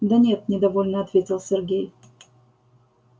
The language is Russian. да нет недовольно ответил сергей